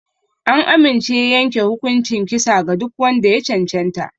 An amince a yanke hukuncin kisa ga duk wanda ya cancanta.